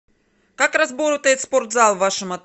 как работает спортзал в вашем отеле